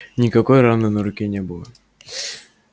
никакой раны на руке не было